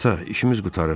Ata, işimiz qurtarıb.